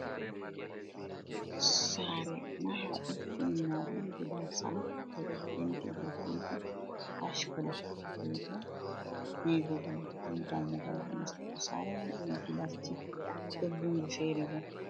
Sare maha ɗum timina ɗum gidan sama ɓe ɗo penti be penti ash kolo be bo nevi bulu ɗum dammugal nastugo sare man ɗon gilasji ɗon lungo fere bo.